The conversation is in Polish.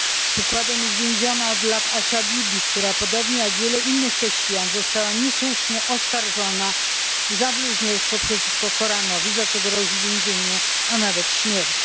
Przykładem jest więziona od lat Asia Bibi, która podobnie jak wielu innych chrześcijan została niesłusznie oskarżona o bluźnierstwo przeciwko Koranowi, za co grozi więzienie, a nawet śmierć.